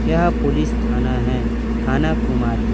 यह पुलिस थाना है थाना कुमारी--